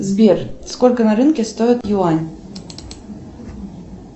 сбер сколько на рынке стоит юань